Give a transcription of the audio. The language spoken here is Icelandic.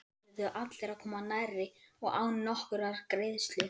Þar urðu allir að koma nærri og án nokkurrar greiðslu.